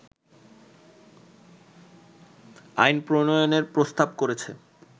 আইন প্রণয়নের প্রস্তাব করেছে